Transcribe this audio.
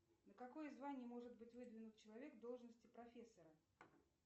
на какое звание может быть выдвинут человек в должности профессора